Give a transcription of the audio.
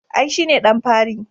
I, shi ne ɗan fari